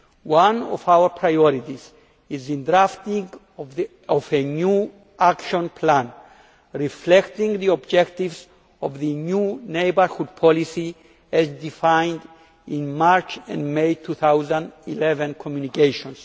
One of our priorities is the drafting of a new action plan reflecting the objectives of the new neighbourhood policy as defined in the March and May 2011 communications.